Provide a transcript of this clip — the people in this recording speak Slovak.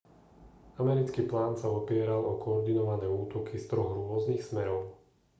americký plán sa opieral o koordinované útoky z troch rôznych smerov